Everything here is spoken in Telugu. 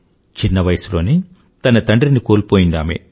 చిన్నవయసులోనే తన తండ్రిని కోల్పోయింది ఆమె